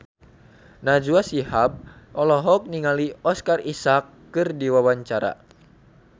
Najwa Shihab olohok ningali Oscar Isaac keur diwawancara